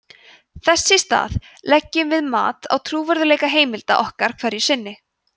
þess í stað leggjum við mat á trúverðugleika heimilda okkar hverju sinni